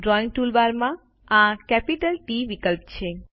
drawing toolbar પર આ capital T વિકલ્પ છે